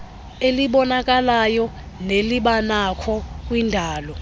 elibonakalayo nelinokubakho kwindalo